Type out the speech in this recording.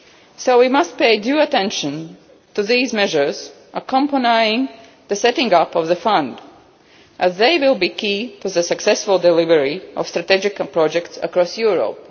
So we must pay due attention to these measures accompanying the setting up of the fund, as they will be key to the successful delivery of strategic projects across Europe.